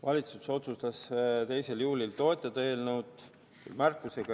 Valitsus otsustas 2. juulil eelnõu toetada, tehes samas märkusi.